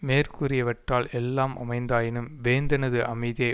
மேற்கூறியவற்றால் எல்லாம் அமைந்ததாயினும் வேந்தனது அமைதியை